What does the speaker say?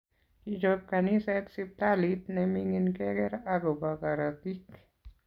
Kichop kaniset siptalit ne mingin keger akobo karotik